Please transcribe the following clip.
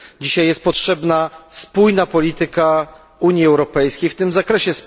Dzisiaj jest potrzebna spójna polityka Unii Europejskiej w tym zakresie.